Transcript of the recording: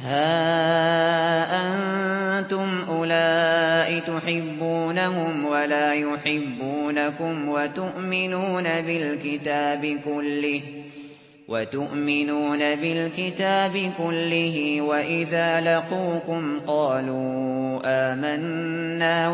هَا أَنتُمْ أُولَاءِ تُحِبُّونَهُمْ وَلَا يُحِبُّونَكُمْ وَتُؤْمِنُونَ بِالْكِتَابِ كُلِّهِ وَإِذَا لَقُوكُمْ قَالُوا آمَنَّا